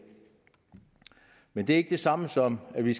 men det er ikke det samme som at vi